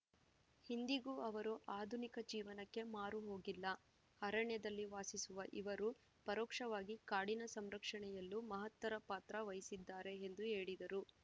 ಇಂದಿಗೂ ಅವರು ಆಧುನಿಕ ಜೀವನಕ್ಕೆ ಮಾರು ಹೋಗಿಲ್ಲ ಅರಣ್ಯದಲ್ಲಿ ವಾಸಿಸುವ ಇವರು ಪರೋಕ್ಷವಾಗಿ ಕಾಡಿನ ಸಂರಕ್ಷಣೆಯಲ್ಲೂ ಮಹತ್ತರ ಪಾತ್ರ ವಹಿಸಿದ್ದಾರೆ ಎಂದು ಹೇಳಿದರು